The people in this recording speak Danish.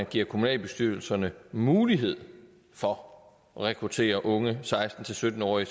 give kommunalbestyrelserne mulighed for at rekruttere unge seksten til sytten årige